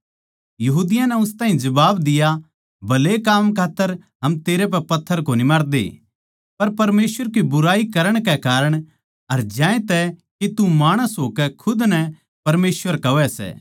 यहूदियाँ नै उस ताहीं जबाब दिया भले काम खात्तर हम तेरै पै पत्थर कोनी मारदे पर परमेसवर की बुराई करण कै कारण अर ज्यांतै के तू माणस होकै खुद नै परमेसवर कहवै सै